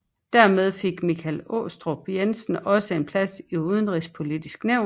Dermed fik Michael Aastrup Jensen også en plads i Udenrigspolitisk Nævn